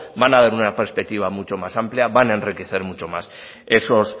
van a dar una perspectiva mucho más amplia van a enriquecer mucho más esos